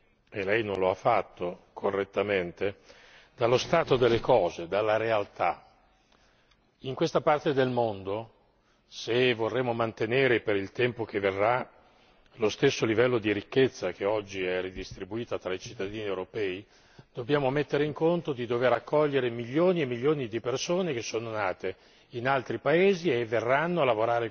Non bisognerebbe tuttavia mai prescindere e Lei, correttamente, non lo ha fatto dallo stato delle cose, dalla realtà. In questa parte del mondo, se vorremo mantenere per il tempo che verrà lo stesso livello di ricchezza oggi ridistribuita fra i cittadini europei, dobbiamo mettere in conto il fatto di dover accogliere milioni e milioni di persone nate